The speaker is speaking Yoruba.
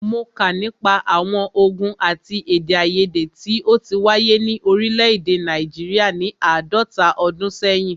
Mó kà nípa àwọn ògùn àti èdèaiyèdè tí o ti wáyé ni òrílẹ̀ èdè Nàìjíríà ni àádọ́ta ọdún sẹ́yìn.